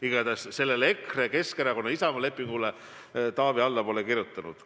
Igatahes sellele EKRE, Keskerakonna ja Isamaa lepingule Taavi alla pole kirjutanud.